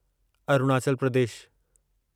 Arunachal Pradesh